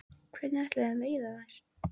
Hvernig ætlið þið að veiða þær?